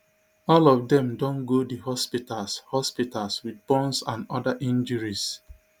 all of dem don go di hospitals hospitals wit burns and oda injuries